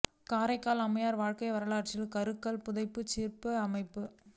காரைக்கால் அம்மையாா் வாழ்க்கை வரலாற்று கருங்கல் புடைப்புச் சிற்ப அமைப்பு